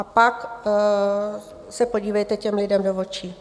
A pak se podívejte těm lidem do očí.